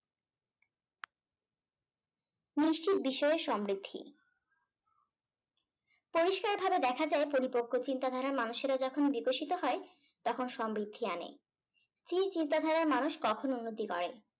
নিশ্চিত বিষয়ে সমৃদ্ধি । পরিষ্কার ভাবে দেখা যায় পরিপক্ক চিন্তাধারা মানুষেরা যখন বিকশিত হয় তখন সমৃদ্ধি আনে। স্থির চিন্তাধারা র মানুষ কখন উন্নতি করে